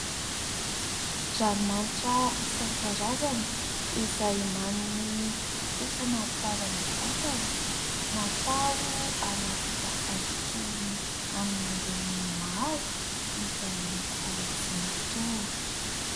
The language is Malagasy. Ranomanitra isan-karazany izay manome fofona tsara ny vatana, natao anaty tavoahangy kely amin'ny endriny maro, izay loko tsy mitovy.